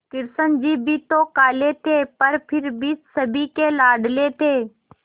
कृष्ण जी भी तो काले थे पर फिर भी सभी के लाडले थे